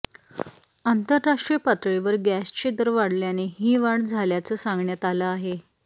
आंतरराष्ट्रीय पातळीवर गॅसचे दर वाढल्याने ही वाढ झाल्याचं सांगण्यात आलं आहे